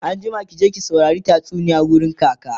anjima ki je ki saurari tatsuniya wurin kaka!